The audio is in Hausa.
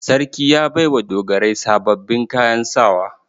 Sarki ya bai wa dogarai sababbin kayan sawa.